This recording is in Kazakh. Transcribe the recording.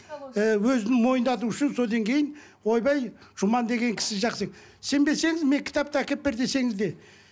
ііі өзін мойындату үшін содан кейін ойбай жұман деген кісі жақсы сенбесеңіз мен кітапты әкеп бер десеңіз де